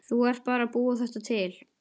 Þú ert bara að búa þetta til.